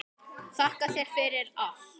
Þakka þér fyrir allt.